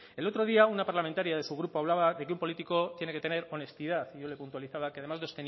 el otro día una parlamentaria de su grupo hablaba de que un político tiene que tener honestidad y yo le puntualizaba que además de